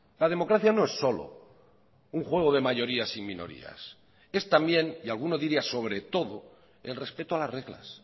la democracia no es solo un juego de mayorías y minorías es también y alguno diría sobre todo el respeto a las reglas